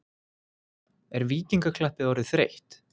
Er Víkingaklappið orðið þreytt?